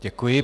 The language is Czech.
Děkuji.